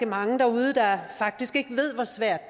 mange derude der faktisk ikke ved hvor svært